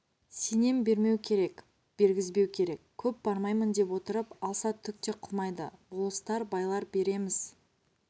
сенем бермеу керек бергізбеу керек көп бармаймын деп отырып алса түк те қылмайды болыстар байлар береміз